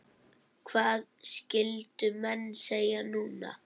Hvað skyldu menn segja núna?